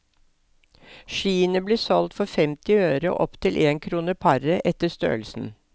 Skiene ble solgt for femti øre og opp til en krone paret etter størrelsen.